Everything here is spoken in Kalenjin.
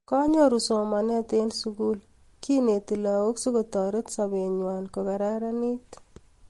Konyoru somanet eng sugul ,kiineti lagook sigotaret sobengwany kogararanitu